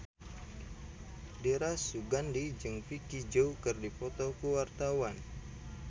Dira Sugandi jeung Vicki Zao keur dipoto ku wartawan